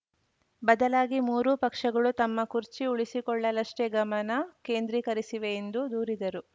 ಬದಲಾಗಿ ಮೂರೂ ಪಕ್ಷಗಳು ತಮ್ಮ ಕುರ್ಚಿ ಉಳಿಸಿಕೊಳ್ಳಲಷ್ಟೇ ಗಮನ ಕೇಂದ್ರೀಕರಿಸಿವೆ ಎಂದು ದೂರಿದರು